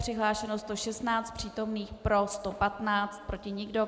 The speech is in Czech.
Přihlášeno 116, přítomných, pro 115, proti nikdo.